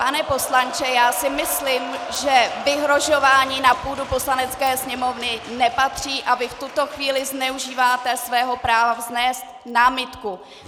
Pane poslanče, já si myslím, že vyhrožování na půdu Poslanecké sněmovny nepatří, a vy v tuto chvíli zneužíváte svého práva vznést námitku.